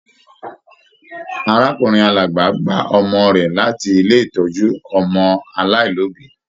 Arákùnrin Alábá gba ọmọ rẹ láti ilé ìtọjú ọmọ aláìlobi.